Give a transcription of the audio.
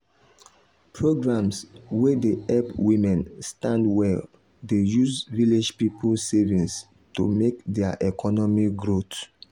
programs wey dey help women stand well dey use village people savings to make their economy growth